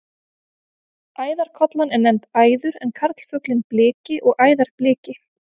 Æðarkollan er nefnd æður en karlfuglinn bliki og æðarbliki.